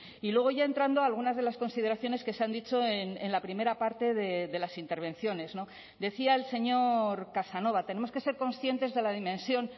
y luego ya entrando a algunas de las consideraciones que se han dicho en la primera parte de las intervenciones decía el señor casanova tenemos que ser conscientes de la dimensión